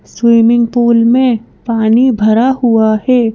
Swimming pool में पानी भरा हुआ है।